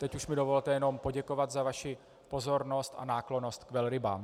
Teď už mi dovolte jenom poděkovat za vaši pozornost a náklonnost k velrybám.